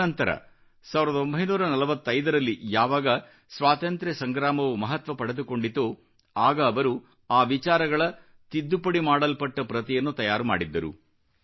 ತದನಂತರ 1945ರಲ್ಲಿ ಯಾವಾಗ ಸ್ವಾತಂತ್ರ್ಯ ಸಂಗ್ರಾಮವು ಮಹತ್ವ ಪಡೆದುಕೊಂಡಿತೋ ಆಗ ಅವರು ಆ ವಿಚಾರಗಳ ತಿದ್ದುಪಡಿ ಮಾಡಲ್ಪಟ್ಟ ಪ್ರತಿಯನ್ನು ತಯಾರು ಮಾಡಿದ್ದರು